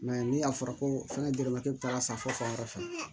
ni a fɔra ko fɛngɛ gɛlɛma te taa san fo fan wɛrɛ fɛ